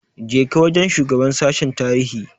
Je ka wajen shugaban sashen tarihi!